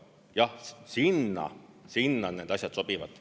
Jah, sinna need asjad sobivad.